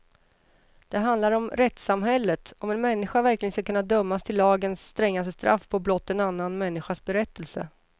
Den handlar om rättssamhället, om en människa verkligen ska kunna dömas till lagens strängaste straff på blott en annan människas berättelse.